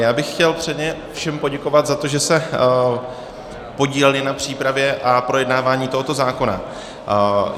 Já bych chtěl předně všem poděkovat za to, že se podíleli na přípravě a projednávání tohoto zákona.